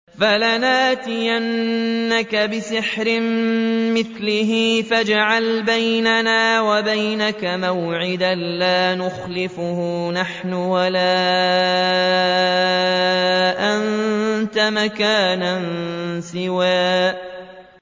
فَلَنَأْتِيَنَّكَ بِسِحْرٍ مِّثْلِهِ فَاجْعَلْ بَيْنَنَا وَبَيْنَكَ مَوْعِدًا لَّا نُخْلِفُهُ نَحْنُ وَلَا أَنتَ مَكَانًا سُوًى